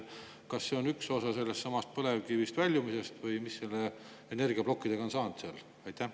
Kas see on üks osa sellestsamast põlevkivi väljumisest või mis nendest energiaplokkidest saanud on?